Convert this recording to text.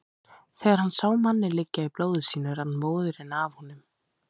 Þegar hann sá manninn liggja í blóði sínu rann móðurinn af honum.